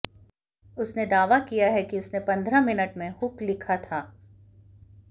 उसने दावा किया कि उसने पंद्रह मिनट में हुक लिखा था